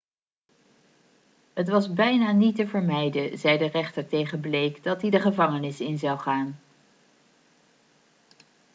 het was bijna niet te vermijden' zei de rechter tegen blake dat hij de gevangenis in zou gaan